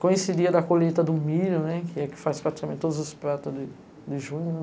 Coincidia da colheita do milho, que faz praticamente todos os pratos de junho.